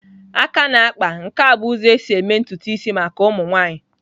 Aka na-akpa nke a bụ ụzọ esi eme ntutu isi maka ụmụ nwaanyị.